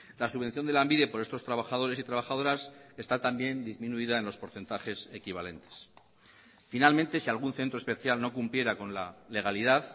la subvención de lanbide por estos trabajadores y trabajadoras está también disminuida en los porcentajes equivalentes finalmente si algún centro especial no cumpliera con la legalidad